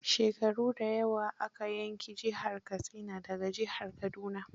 Shekaru da yawa aka yanki jihar Katsina da ga jihar Kaduna.